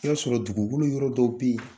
I y'a sɔrɔ dugukolo yɔrɔ dɔ bɛ ye